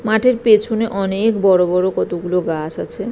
মাঠের পিছনে অনেক বড় বড় কতগুলো গাছ আছে ।